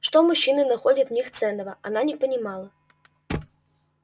что мужчины находят в них ценного она не понимала